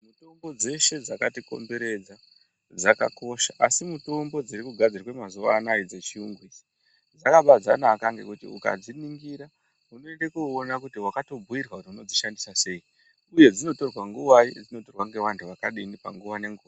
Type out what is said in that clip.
Mutombo dzeshe dzakatikomberedza dzakakosha asi mutombo dziri kugadzirwa mazuwa anaya dzechiyungu idzi, dzakabanaka ngekuti ukadziningira unoende kuona kuti wakatobhuirwa Kuti unodzishandisa seyi, uye dzinotorwa nguvai, uye dzinotorwa ngevantu vakadini panguwa nenguwa.